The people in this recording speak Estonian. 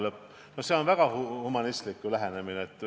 " No see on ju väga humanistlik lähenemine.